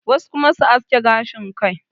wasu kuma su aske gashin Kai